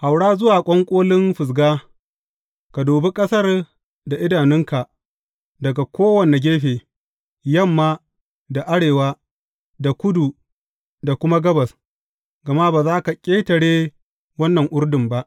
Haura zuwa ƙwanƙolin Fisga, ka dubi ƙasar da idanunka daga kowane gefe, yamma, da arewa, da kudu, da kuma gabas, gama ba za ka ƙetare wannan Urdun ba.